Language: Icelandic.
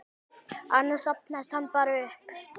Annars safnast hann bara upp.